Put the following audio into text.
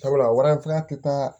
Sabula warantanya te taa